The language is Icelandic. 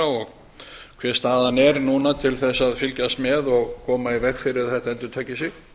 og hver staðan er núna til að fylgjast með og koma í veg fyrir að þetta endurtaki sig